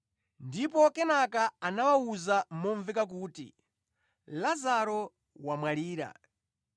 Ndipo kenaka anawawuza momveka kuti, “Lazaro wamwalira.